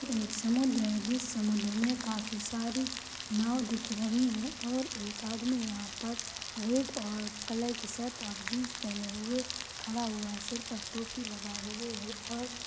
ये एक समुद्र है और समुद्र मे काफी सारी नाव दिख रही है और एक आदमी यह पर रेड और कलर की शर्ट जीन्स पहने हुए खडा हुआ है सिर पर टोपी लगाए हुए है और--